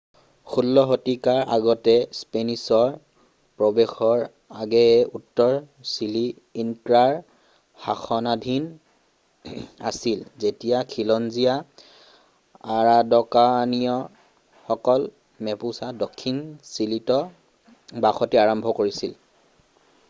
১৬ শতিকাৰ আগতে স্পেনিছৰ প্ৰৱেশৰ আগেয়ে উত্তৰ চিলি ইনক্ৰাৰ শাসনাধীন আছিল যেতিয়া খিলঞ্জীয়া আৰাউকানিয়ানসকলে মেপুচা দক্ষিণ চিলিত বসতি আৰম্ভ কৰিছিল।